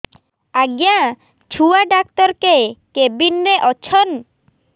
ଆଜ୍ଞା ଛୁଆ ଡାକ୍ତର କେ କେବିନ୍ ରେ ଅଛନ୍